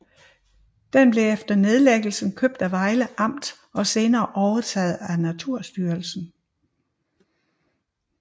Den blev efter nedlæggelsen købt af Vejle Amt og senere overtaget af Naturstyrelsen